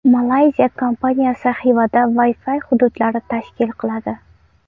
Malayziya kompaniyasi Xivada Wi-Fi hududlari tashkil qiladi.